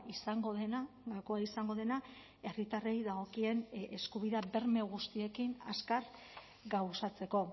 izango dena gakoa izango dena herritarrei dagokien eskubidea berme guztiekin azkar gauzatzeko